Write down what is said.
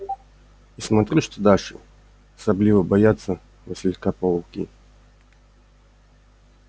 и смотри что дальше особливо боятся василиска пауки